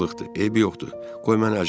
Eybi yoxdur, qoy mən əclaf olum.